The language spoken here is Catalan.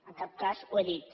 en cap cas l’he dita